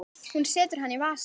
Hún setur hann í vasann.